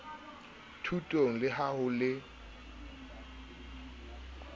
thutong le ha ho le